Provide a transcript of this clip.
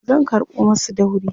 zan karɓo masu dauri